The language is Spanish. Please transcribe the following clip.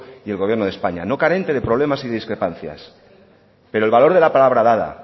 y el gobierno de españa no carente de problemas y discrepancias pero el valor de la palabra dada